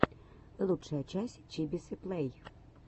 лучшая часть чибисы плэй